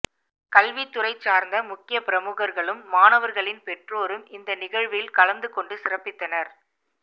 கல்வித்துறை சார்ந்த முக்கியபிரமுகர்களும் மாணவர்களின் பெற்றோரும் இந்த நிகழ்வில் கலந்துகொண்டு சிறப்பித்தனர்